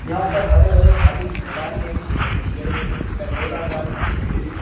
यहां पर हरे भरे खाली मैदान में बहुत सारी चेयर है गोलाकार मेज पड़ी हुई है।